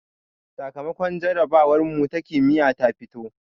Sakamakon jarabawarmu ta kimiyya ta fito